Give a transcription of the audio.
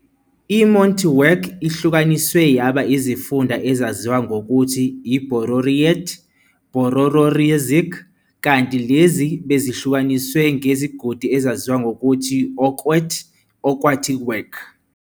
I-"emotinwek" ihlukaniswe yaba izifunda ezaziwa ngokuthi i- "bororiet", "borororisiek", kanti lezi "bezihlukaniswe ngezigodi" ezaziwa ngokuthi okwet, "okwotinwek".